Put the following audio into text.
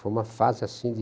Foi uma fase, assim, de